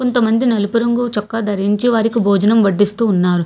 కొంతమంది నలుపు రంగు చొక్కా ధరించి వారికి భోజనం వడిస్తూ ఉన్నారు.